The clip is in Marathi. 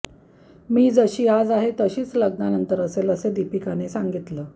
मी जशी आज आहे तशीच लग्नानंतर असेल असे दीपिकाने सांगितलं